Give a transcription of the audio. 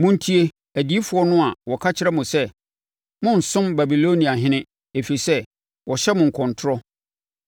Monntie adiyifoɔ no a wɔka kyerɛ mo sɛ, ‘Morensom Babiloniahene,’ ɛfiri sɛ wɔhyɛ mo nkɔmtorɔ.